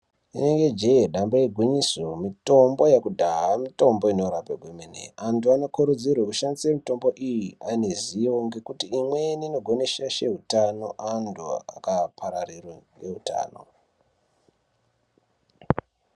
Rinenge jee damba igwinyiso, mitombo yekudhaya mitombo inorape kwemene. Tinokurudzirwa kushandisa mitambo iyi ane zivo ngekuti pamweni inogone kushaishe utano antu aparara ngeutano.